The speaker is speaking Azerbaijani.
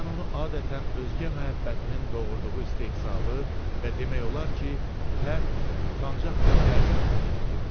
Mən onu adətən özgə məhəbbətinin doğurduğu istehzalı və demək olar ki, pərt, utancaq bir təəccüblə dinləyirdim.